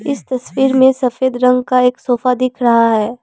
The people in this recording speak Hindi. इस तस्वीर में सफेद रंग का एक सोफा दिख रहा है।